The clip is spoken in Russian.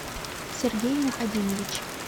сергей мухадинович